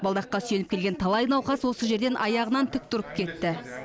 балдаққа сүйеніп келген талай науқас осы жерден аяғынан тік тұрып кетті